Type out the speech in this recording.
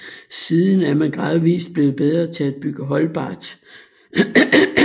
Siden er man gradvist blevet bedre til at bygge holdbart